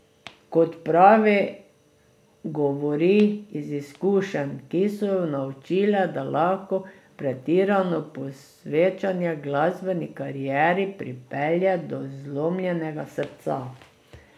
Kot pravi, govori iz izkušenj, ki so jo naučile, da lahko pretirano posvečanje glasbeni karieri pripelje do zlomljenega srca.